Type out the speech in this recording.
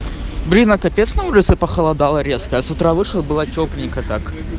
блин а капец на улице похолодало резко я с утра вышла было тёпленько так